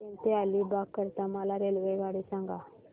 पेण ते अलिबाग करीता मला रेल्वेगाडी सांगा